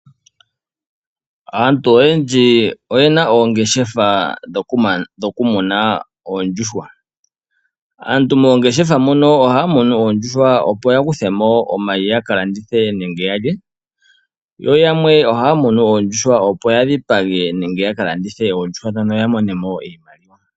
Aantu oyendji oyena oongeshefa dhokumuna oondjuhwa, aantu moongeshefa mono ohaa munu oondjuhwa opo ya kuthe mo omayi ya ka landithe nenge ya lye ,yo yamwe ohaa munu oondjuhwa opo ya dhipage nenge ya kalandithe oondjuhwa dhono opo ya mone mo iimaliwa.